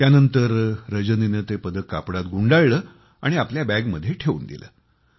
त्यानंतर रजनीने ते पदक कापडात गुंडाळलं आणि आपल्या बॅगमध्ये ठेवून दिलं